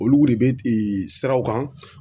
Olu de be siraw kan